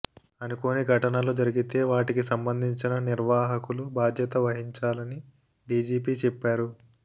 అనుకోని ఘటనలు జరిగితే వాటికి సంబంధించిన నిర్వాహకులు బాధ్యత వహించాలని డీజీపీ చెప్పారు